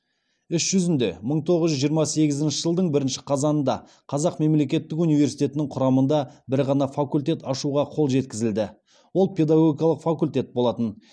іс жүзінде мың тоғыз жүз жиырма сегізінші жылдың бірінші қазанында қазақ мемлекеттік университетінің құрамында бір ғана факультет ашуға қол жеткізілді ол педагогикалық факультет болатын